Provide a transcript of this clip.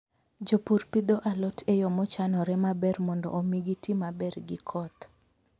Jopur pidho alot e yo mochanore maber mondo omi giti maber gi koth.